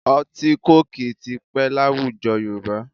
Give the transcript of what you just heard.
Ọtí kóòkì ti pẹ́ láwùjọ Yorùbá